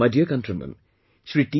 My dear countrymen, Shri T